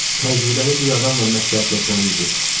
Təcrübəli bir adamla məsləhətləşməli idik.